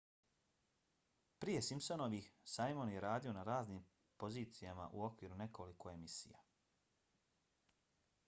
prije simpsonovih simon je radio na raznim pozicijama u okviru nekoliko emisija